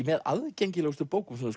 með aðgengilegustu bókum sem þú